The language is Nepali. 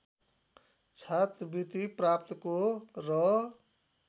छात्रवृत्ति प्राप्तको र